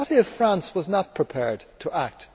What if France was not prepared to act?